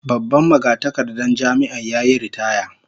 Babban magatakardar Jami'ar yayi ritaya